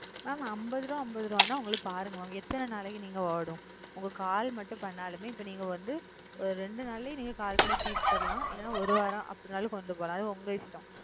mam அம்பது ரூபா அம்பதுரூபா நீங்க பாருங்க எத்தனை நாளாகி ஓடும் ஒரு call மட்டும் பண்ணாலும் மே நீங்க வந்து ரெண்டு நாள் இல்ல call பண்ணி தித்தலா அப்டி இல்லனா ஒரு வாரம் அப்டி இல்லனா உங்க இஷ்டம்